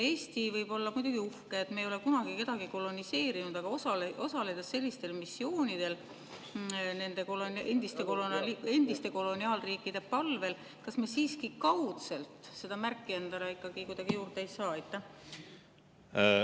Eesti võib olla uhke, et me ei ole kunagi kedagi koloniseerinud, aga kui me osaleme sellistel missioonidel nende endiste koloniaalriikide palvel, kas me siiski kaudselt seda märki endale ikkagi kuidagi ei saa?